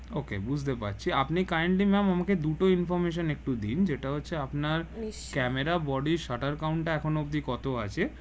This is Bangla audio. okay বুঝতে পাচ্ছি আপনি kindly ma'am আমাকে দুটো information একটু দিন যেটা হচ্ছে আপনার camera camera body shutter count টা এখন অব্দি কত আছে?